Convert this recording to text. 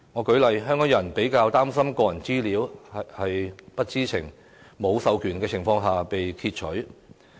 舉例而言，香港人較為擔心個人資料會否在不知情、無授權的情況下被擷取。